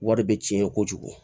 Wari bɛ cɛn kojugu